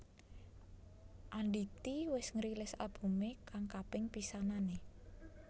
Andity wis ngrilis albumé kang kaping pisanané